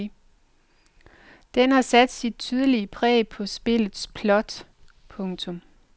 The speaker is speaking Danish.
Den har sat dit tydelige præg på spillets plot. punktum